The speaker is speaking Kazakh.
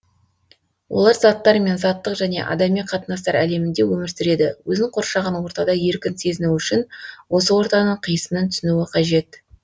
олар заттар мен заттық және адами қатынастар әлемінде өмір сүреді өзін қоршаған ортада еркін сезіну үшін осы ортаның қисынын түсінуі қажет